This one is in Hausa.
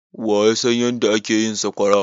Waya san yadda ake yin sakwara?